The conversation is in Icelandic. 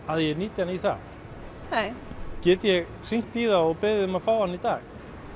að ég nýti hann í það nei get ég hringt í þá og beðið um að fá hann í dag